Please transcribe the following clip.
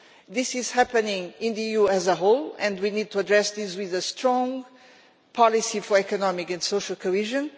This is happening in the EU as a whole and we need to address it with a strong policy for economic and social cohesion.